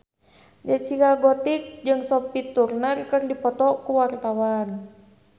Zaskia Gotik jeung Sophie Turner keur dipoto ku wartawan